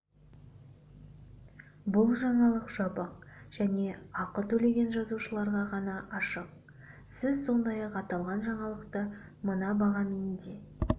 бұл жаңалық жабық және ақы төлеген жазылушыларға ғана ашық сіз сондай-ақ аталған жаңалықты мына бағамен де